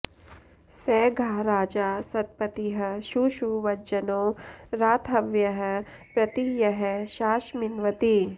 स घा राजा सत्पतिः शूशुवज्जनो रातहव्यः प्रति यः शासमिन्वति